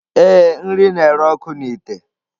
Ee, nri na-ere ọkụ n’ite